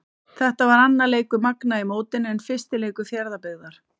Þetta var annar leikur Magna í mótinu en fyrsti leikur Fjarðabyggðar.